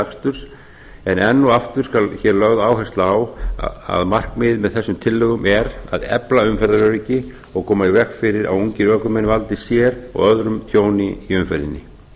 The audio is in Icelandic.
til aksturs en enn og aftur skal hér lögð áhersla á að markmiðið með þessum tillögum er að efla umferðaröryggi og koma í veg fyrir að ungir ökumenn valdi sér og öðrum tjóni í umferðinni